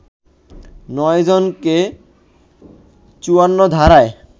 ৯ জনকে ৫৪ ধারায়